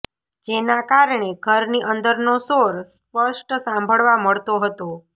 જેના કારણે ઘરની અંદરનો શોર સ્પષ્ટ સાંભળવા મળતો હતો